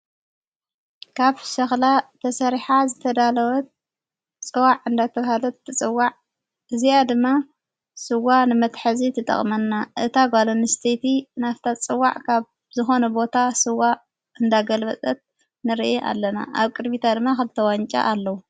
ካብ ሸኽላ ተሠሪሐ ዝተዳለወት ጽዋዕ እንዳተፍሃለት ትጽዋዕ እዚኣ ድማ ሥዋ ንመትሐዚ ትጠቕመና እታ ጓልኣንስተይቲ ናብታ ዝጽዋዕ ካብ ዝኾነ ቦታ ፅዋዕ እንዳገልበጠት ንርአ ኣለና ኣብ ቅድቢታ ድማ ኸልተ ዋንጫ ኣለዉ።